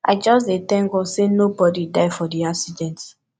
i just dey tank god sey nobodi die for di accident